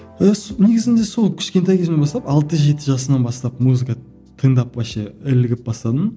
негізінде сол кішкентай кезімнен бастап алты жеті жасымнан бастап музыка тыңдап вообще ілігіп бастадым